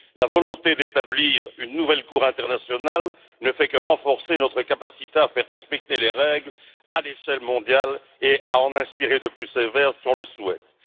La volonté d'établir une nouvelle cour internationale ne fait que renforcer notre capacité à faire respecter les règles à l'échelle mondiale et à en inspirer de plus sévères si nous le souhaitons.